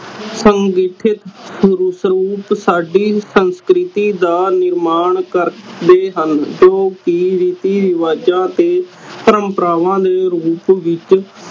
ਸਾਡੀ ਸੰਸਕ੍ਰਿਤੀ ਦਾ ਨਿਰਮਾਣ ਕਰਦੇ ਹਨ ਜੋ ਕੇ ਰੀਤੀ ਰਿਵਾਜਾਂ ਅਤੇ ਪ੍ਰੰਪ੍ਰਾਵਾਂ ਦੇ ਰੂਪ ਵਿਚ